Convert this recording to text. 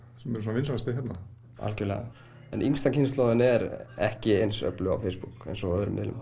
sem eru svona vinsælastir hérna algjörlega en yngsta kynslóðin er ekki eins öflug á Facebook eins og á öðrum miðlum